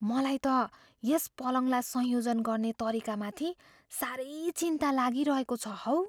मलाई त यस पलङलाई संयोजन गर्ने तरिकामाथि साह्रै चिन्ता लागिरहेको छ हौ।